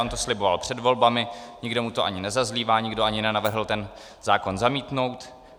On to sliboval před volbami, nikdo mu to ani nezazlívá, nikdo ani nenavrhl ten zákon zamítnout.